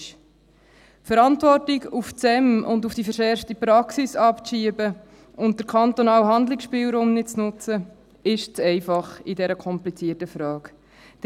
Die Verantwortung auf das SEM und die verschärfte Praxis abzuschieben und den kantonalen Handlungsspielraum nicht zu nutzen, ist in dieser komplizierten Frage zu einfach.